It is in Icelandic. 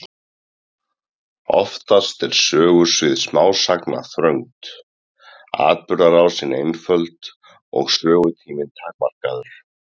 Oftast er sögusvið smásagna þröngt, atburðarásin einföld og sögutíminn takmarkaður.